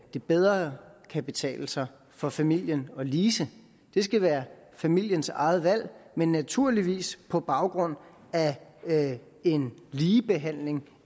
det bedre kan betale sig for familien at lease det skal være familiens eget valg men naturligvis på baggrund af en ligebehandling